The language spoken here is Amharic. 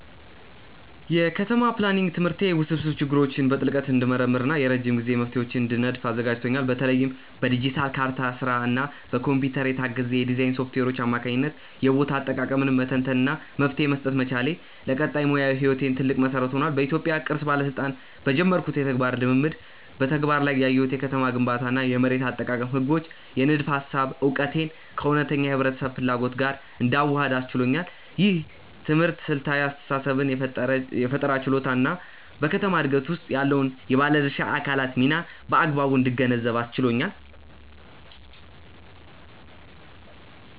የከተማ ፕላኒንግ ትምህርቴ ውስብስብ ችግሮችን በጥልቀት እንድመረምር እና የረጅም ጊዜ መፍትሄዎችን እንድነድፍ አዘጋጅቶኛል። በተለይም በዲጂታል ካርታ ስራ እና በኮምፒውተር የታገዘ የዲዛይን ሶፍትዌሮች አማካኝነት የቦታ አጠቃቀምን መተንተን እና መፍትሄ መስጠት መቻሌ፣ ለቀጣይ ሙያዊ ህይወቴ ትልቅ መሰረት ሆኗል። በኢትዮጵያ ቅርስ ባለስልጣን በጀመርኩት የተግባር ልምምድ በተግባር ላይ ያየሁት የከተማ ግንባታ እና የመሬት አጠቃቀም ህጎች የንድፈ ሃሳብ እውቀቴን ከእውነተኛ የህብረተሰብ ፍላጎት ጋር እንዳዋህድ አስችሎኛል። ይህ ትምህርት ስልታዊ አስተሳሰብን የፈጠራ ችሎታን እና በከተማ ዕድገት ውስጥ ያለውን የባለድርሻ አካላት ሚና በአግባቡ እንድገነዘብ አስችሎኛል።